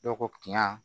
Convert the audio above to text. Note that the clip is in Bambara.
Dɔw ko kiya